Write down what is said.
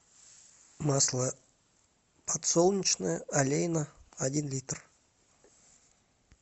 масло подсолнечное олейна один литр